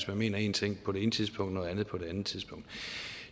man mener én ting på det ene tidspunkt og noget andet på det andet tidspunkt